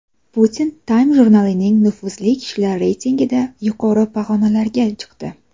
Putin Time jurnalining nufuzli kishilar reytingida yuqori pog‘onalarga chiqdi.